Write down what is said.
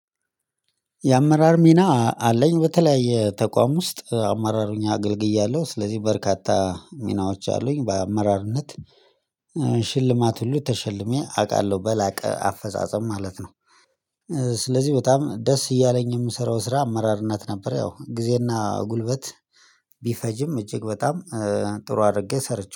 የአመራር ሚና አለኝ በተለያየ ተቋም ውስጥ አመራር ሆኜ አገልግዬዋለሁ ስለዚህ በርካታ ሚናዎች አሉኝ በአመራርነት ሽልማት ሁሉ ተሸልሜ አቃለሁ በላቀ አፈጻጸም ማለት ነው። ስለዚህ በጣም ደስ እያለኝ የምሰራው ስራ አመራርነት ነበር። ያው ጊዜና ጉልበት ቢፈጅም እጅግ በጣም ጥሩ አድርጌ ሰርቼ